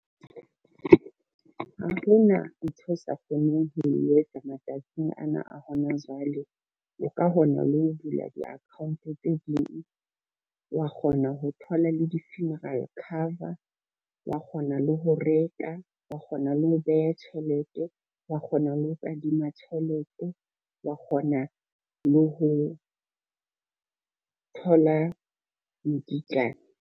Ha hona ntho o sa kgoneng ho etsa matsatsing ana a hona jwale, o ka kgona le ho bula di-account tse ding, wa kgona ho thola le di-funeral cover, wa kgona le ho reka, wa kgona le ho beha tjhelete, wa kgona le ho kadima tjhelete, wa kgona le ho thola mokitlane.